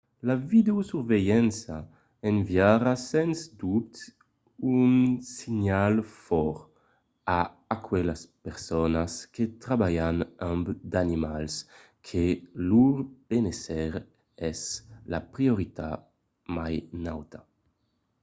"la videosusvelhança enviariá sens dobte un senhal fòrt a aquelas personas que trabalhan amb d'animals que lor benésser es la prioritat mai nauta.